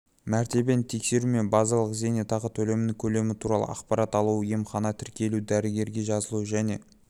мәртебені тексеру мен базалық зейнетақы төлемінің көлемі туралы ақпарат алу емханаға тіркелу дәрігерге жазылу және